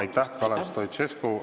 Aitäh, Kalev Stoicescu!